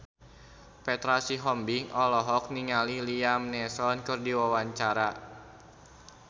Petra Sihombing olohok ningali Liam Neeson keur diwawancara